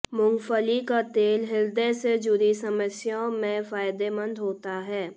मूंगफली का तेल हृदय से जुड़ी समस्याओं में फायदेमंद होता है